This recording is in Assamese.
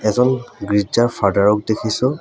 এজন গীৰ্জাৰ ফাদাৰ ক দেখিছোঁ।